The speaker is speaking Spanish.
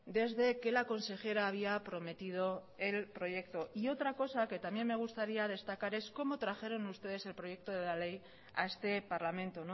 desde que la consejera había prometido el proyecto y otra cosa que también me gustaría destacar es cómo trajeron ustedes el proyecto de la ley a este parlamento